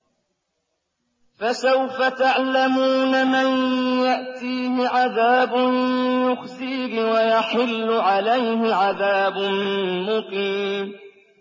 فَسَوْفَ تَعْلَمُونَ مَن يَأْتِيهِ عَذَابٌ يُخْزِيهِ وَيَحِلُّ عَلَيْهِ عَذَابٌ مُّقِيمٌ